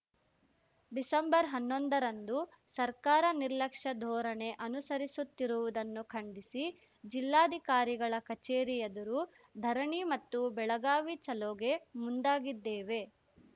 December ಹನ್ನೊಂದರಂದು ಸರ್ಕಾರ ನಿರ್ಲಕ್ಷ್ಯ ಧೋರಣೆ ಅನುಸರಿಸುತ್ತಿರುವುದನ್ನು ಖಂಡಿಸಿ ಜಿಲ್ಲಾಧಿಕಾರಿಗಳ ಕಚೇರಿ ಎದುರು ಧರಣಿ ಮತ್ತು ಬೆಳಗಾವಿ ಚಲೋಗೆ ಮುಂದಾಗಿದ್ದೇವೆ